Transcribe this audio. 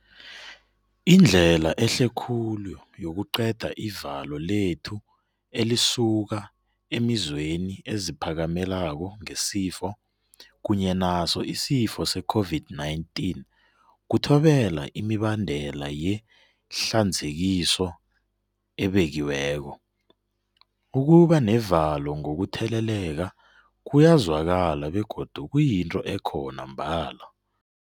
Indlela ehle khulu yokuqeda ivalo lethu elisukaemizweni eziphakamelako ngesifo kunye naso isifo seCOVID-19 kuthobela imibandela yehlanzekiso ebekiweko. Ukuba nevalo ngokutheleleka kuyezwakala begodu kuyinto ekhona mbala.